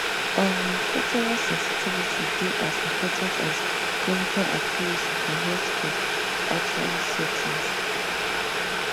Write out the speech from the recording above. um cultural sensitivity dey as important as clinical accuracy for healthcare actually settings